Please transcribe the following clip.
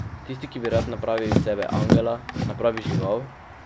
Tisti, ki bi rad napravil iz sebe angela, napravi žival?